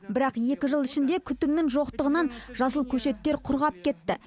бірақ екі жыл ішінде күтімнің жоқтығынан жасыл көшеттер құрғап кетті